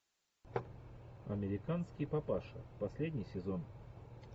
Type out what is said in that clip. американский папаша последний сезон